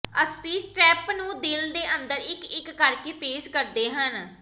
ਅਸੀਂ ਸਟ੍ਰੈੱਪ ਨੂੰ ਦਿਲ ਦੇ ਅੰਦਰ ਇਕ ਇਕ ਕਰਕੇ ਪੇਸਟ ਕਰਦੇ ਹਾਂ